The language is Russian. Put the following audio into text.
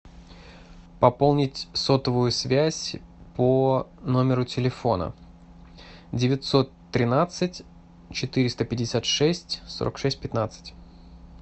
пополнить сотовую связь по номеру телефона девятьсот тринадцать четыреста пятьдесят шесть сорок шесть пятнадцать